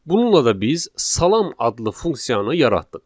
Bununla da biz salam adlı funksiyanı yaratdıq.